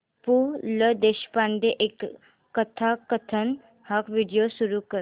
पु ल देशपांडे कथाकथन हा व्हिडिओ सुरू कर